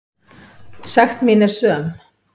Sekt mín er söm.